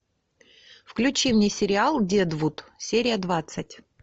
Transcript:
включи мне сериал дедвуд серия двадцать